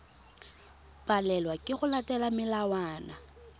palelwa ke go latela melawana